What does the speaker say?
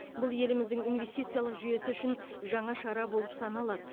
бұл еліміздің инвестициялық жүйесі үшін жаңа шара болып саналады